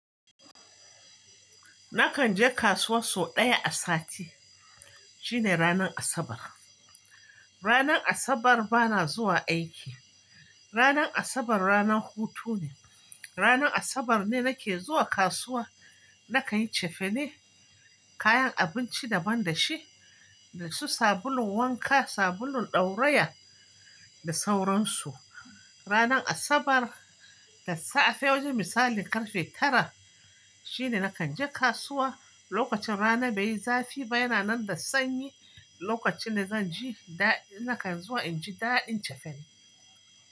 Nakan je kasuwa sau ɗaya a sati, shine ranar Asabar. Ranar Asabar bana zuwa aiki. Ranar Asabar ranar hutu ne. Ranar Asabar ne nake zuwa kasuwa nakan yi cefane, kayan abinci daban da shi, da su sabulun wanka, sabulun ɗauraya, da sauransu. Ranan Asabar, da safe, wajen misalin karfe tara, shine nakan je kasuwa. Lokacin rana baiyi zafi ba, yana nan da sanyi, lokacin da zan ji daɗin, na kan zuwa inji ɗa inji cefane.